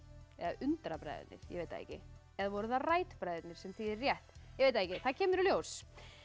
eða undra bræðurnir ég veit það ekki eða voru það bræðurnir sem þýðir rétt ég veit það ekki það kemur í ljós